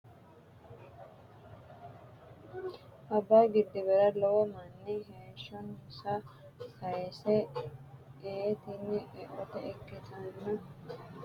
Abayi gidibera lowo mani heshonisa sayise iyi tin oat ikkitana gadawanitinoki yanara Ethiopiuni kuni wayi babatino busha hare harinihunni gipitete mani horonsiranohu gatino